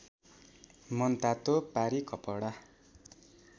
मनतातो पारी कपडा